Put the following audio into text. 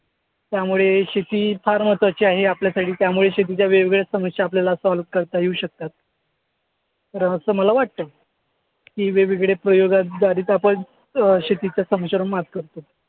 त्यामुळे शेती ही फार महत्वाची आहे आपल्यासाठी त्यामुळे शेतीच्या वेगवेगळ्या समस्या आपल्याला solve करता येऊ शकतात. असं मला वाटतं की वेगवेगळ्या प्रयोगाद्वारेच आपण अं शेतीच्या समस्यांवर मात करतो.